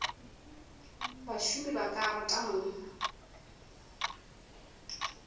bašomi ba ka rata mna